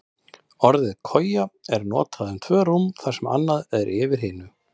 Orðið koja er notað um tvö rúm þar sem annað er yfir hinu.